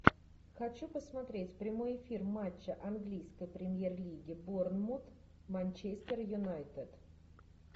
хочу посмотреть прямой эфир матча английской премьер лиги борнмут манчестер юнайтед